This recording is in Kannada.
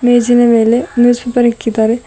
ಮೇಜಿನ ಮೇಲೆ ನ್ಯೂಸ್ ಪೇಪರ್ ಇಕ್ಕಿದ್ದಾರೆ.